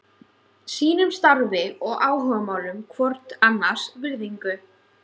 Sýnum starfi og áhugamálum hvort annars virðingu.